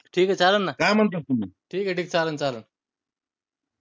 ठीके चालन ना ठीक ठीक ये चालन चालन.